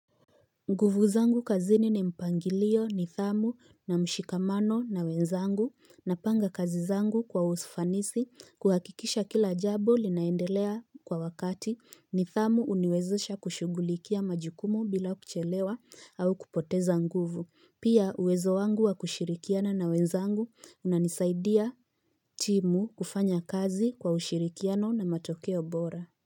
Nguvu zangu kazini ni mpangilio ni thamu na mshikamano na wenzangu na panga kazi zangu kwa usfanisi kuhakikisha kila jabu linaendelea kwa wakati ni thamu uniwezesha kushugulikia majukumu bila kuchelewa au kupoteza nguvu. Pia uwezo wangu wa kushirikiana na wenzangu unanisaidia timu kufanya kazi kwa ushirikiano na matokeo bora.